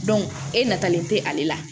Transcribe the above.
e natalen tɛ ale la